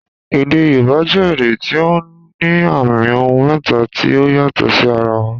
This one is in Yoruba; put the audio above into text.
Èdè Yorùbá jẹ èdè tí ó ní àmì ohùn mẹ́ta tí ó yàtò sí ara wọn.